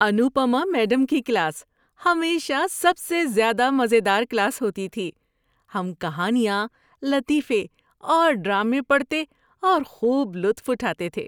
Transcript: Anupama madam کی class ہمیشہ سب سے زیادہ مزے دار کلاس ہوتی تھی۔ ہم کہانیاں، لطیفے اور ڈرامے پڑھتے اور خوب لطف اٹھاتے تھے۔